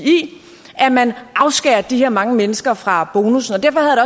at man afskærer de her mange mennesker fra bonussen og derfor havde